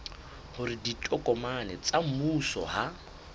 hore ditokomane tsa mmuso ha